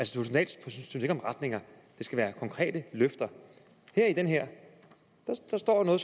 synes ikke om retninger det skal være konkrete løfter men i den her står der